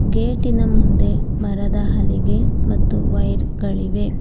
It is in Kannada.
ಗೇಟಿನ ಮುಂದೆ ಮರದ ಹಲಿಗೆ ಮತ್ತು ವೈರ್ಗಳಿವೆ.